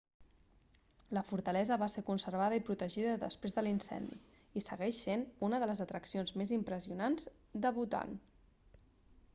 la fortalesa va ser conservada i protegida després de l'incendi i segueix sent una de les atraccions més impressionants del bhutan